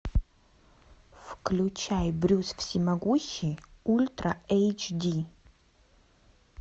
включай брюс всемогущий ультра эйч ди